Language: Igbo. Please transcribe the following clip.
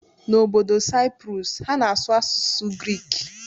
N'obodo Cyprus, ha na-asụ asụsụ Grik.